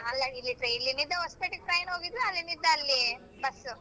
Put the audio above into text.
ಅಲ್ಲ ಇಲ್ಲಿ ಇಲ್ಲಿಂದ ಹೊಸ್ಪೇಟೆಗ್ train ಹೋಗಿದ್ದು ಅಲ್ಲಿದಿಂದ ಅಲ್ಲಿ bus ಉ.